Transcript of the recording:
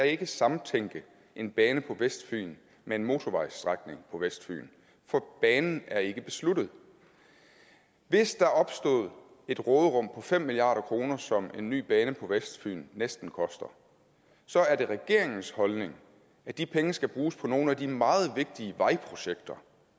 ikke samtænke en bane på vestfyn med en motorvejsstrækning på vestfyn for banen er ikke besluttet hvis der opstod et råderum på fem milliard kr som en ny bane på vestfyn næsten koster så er det regeringens holdning at de penge skal bruges på nogle af de meget vigtige vejprojekter